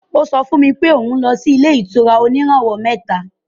Ó sọ fún mi pé òun lọ ilé-ìtura oníràwọ̀ mẹ́ta.